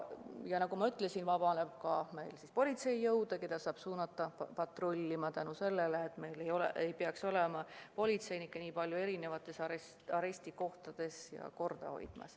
Ja nagu ma ütlesin, nii vabaneb politseijõude, keda saab suunata patrullima tänu sellele, et siis ei peaks nii palju politseinikke eri arestikohtades korda hoidma.